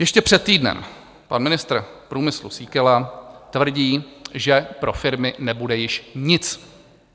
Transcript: Ještě před týdnem pan ministr průmyslu Síkela tvrdí, že pro firmy nebude již nic.